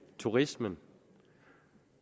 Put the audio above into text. turismen